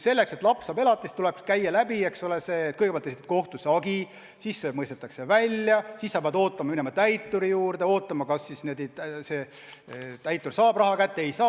Selleks, et laps saaks elatisraha, tuleks kõigepealt esitada kohtusse hagi, siis see raha mõistetakse välja, siis sa pead ootama ja minema täituri juurde, ootama, kas ta saab raha kätte või ei saa.